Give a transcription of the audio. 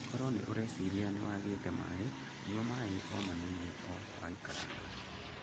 Koro nĩ ũreciria nĩ wagĩte maĩ, nyua maĩ o manini o waikaranga.